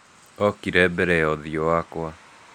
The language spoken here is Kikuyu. Okire mbere ya ũthiũ wakwa.